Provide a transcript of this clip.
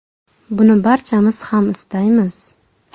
Buni barchamiz ham istaymiz.